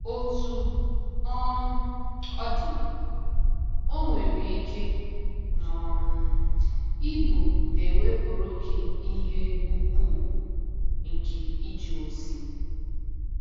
Otú um ọ dị, o nwere ike um ịbụ na e wepụrụ gị ihe ùgwù nke ije ozi.